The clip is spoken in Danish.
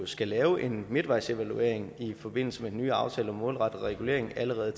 skal lave en midtvejsevaluering i forbindelse med den nye aftale om en målrettet regulering allerede